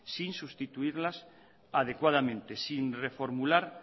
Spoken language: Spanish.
sin sustituirlas adecuadamente sin reformular